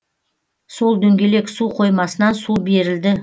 сол дөңгелек су қоймасынан су берілді